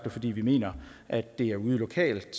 og fordi vi mener at det er ude lokalt